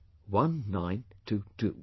... 1922